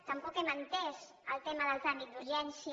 tampoc no hem entès el tema del tràmit d’urgència